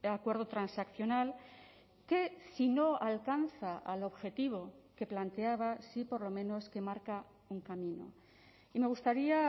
acuerdo transaccional que si no alcanza al objetivo que planteaba sí por lo menos que marca un camino y me gustaría